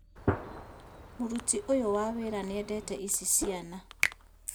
Mũruti ũyũwa wĩra nĩendete ici ciana